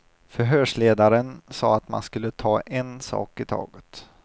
Förshörsledaren sa att man skulle ta en sak i taget.